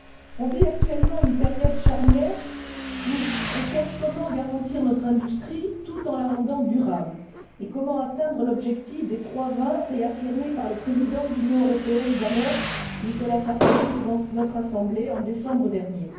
On vit actuellement une période charnière où on cherche comment garantir notre industrie, tout en la rendant durable, et comment atteindre l'objectif des trois 20 réaffirmé par le Président de l'Union européenne d'alors, Nicolas Sarkozy, devant notre Assemblée en décembre dernier.